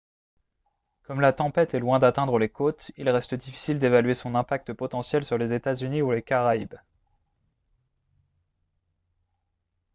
comme la tempête est loin d'atteindre les côtes il reste difficile d'évaluer son impact potentiel sur les états-unis ou les caraïbes